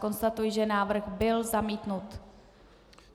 Konstatuji, že návrh byl zamítnut.